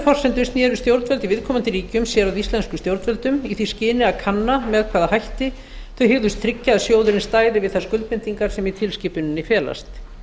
forsendu sneru stjórnvöld í viðkomandi ríkjum sér að íslenskum stjórnvöldum í því skyni að kanna með hvaða hætti þau hygðust tryggja að sjóðurinn stæði við þær skuldbindingar sem í tilskipuninni felast